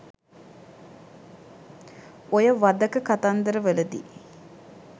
ඔය වධක කතන්දර වලදි